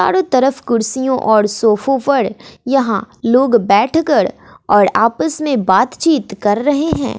चारों तरफ कुर्सियों और सोफों पर यहां लोग बैठकर और आपस में बातचीत कर रहे हैं।